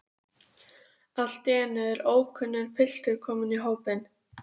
Allt í einu er ókunnur piltur kominn í hópinn.